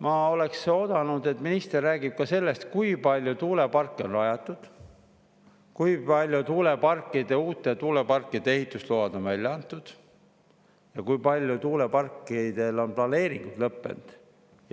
Ma oleks oodanud, et minister räägib ka sellest, kui palju tuuleparke on rajatud, kui paljude uute tuuleparkide ehitusload on välja antud ja kui paljude tuuleparkide puhul on planeeringud lõppenud